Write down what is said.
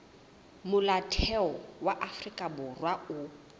molaotheo wa afrika borwa o